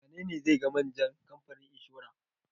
Wane ne zai ga manjan kamfanin inshora?